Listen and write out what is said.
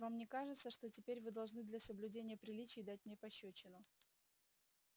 вам не кажется что теперь вы должны для соблюдения приличий дать мне пощёчину